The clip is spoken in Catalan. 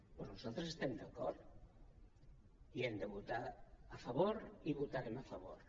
doncs nosaltres hi estem d’acord i hi hem de votar a favor i hi votarem a favor